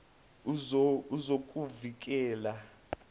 wezokuvikela